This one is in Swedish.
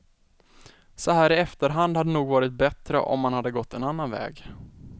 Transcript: Så här i efterhand hade det nog varit bättre om man hade gått en annan väg.